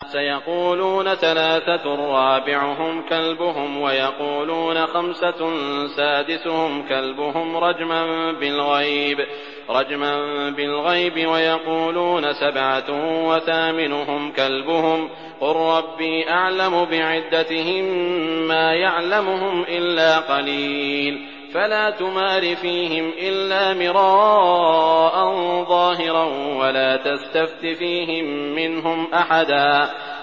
سَيَقُولُونَ ثَلَاثَةٌ رَّابِعُهُمْ كَلْبُهُمْ وَيَقُولُونَ خَمْسَةٌ سَادِسُهُمْ كَلْبُهُمْ رَجْمًا بِالْغَيْبِ ۖ وَيَقُولُونَ سَبْعَةٌ وَثَامِنُهُمْ كَلْبُهُمْ ۚ قُل رَّبِّي أَعْلَمُ بِعِدَّتِهِم مَّا يَعْلَمُهُمْ إِلَّا قَلِيلٌ ۗ فَلَا تُمَارِ فِيهِمْ إِلَّا مِرَاءً ظَاهِرًا وَلَا تَسْتَفْتِ فِيهِم مِّنْهُمْ أَحَدًا